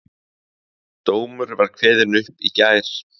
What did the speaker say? Dómur var kveðinn upp í gær